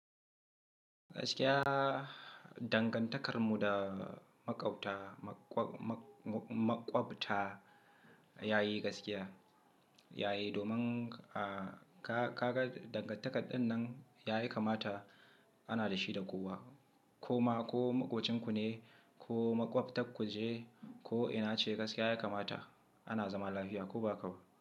Gaskiya dangantakarmu da maƙwabta maƙwa maƙwabta ya yi gaskiya. Ya yi domin ahh ka ga dangantaka ɗinnan ya yi kamata ana da shi da kowa koma. Ko maƙocin ku ne, ko maƙwabtarku ce, ko ina ce gaskiya ya kamata ana zama lafiya ko ba haka ba.